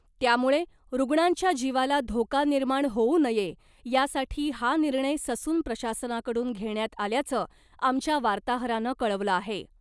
त्यामुळे रुग्णांच्या जीवाला धोका निर्माण होऊ नये , यासाठी हा निर्णय ससून प्रशासनाकडून घेण्यात आल्याचं आमच्या वार्ताहरानं कळवलं आहे .